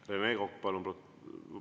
Rene Kokk, palun!